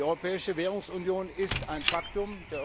Die Europäische Währungsunion ist ein Faktum.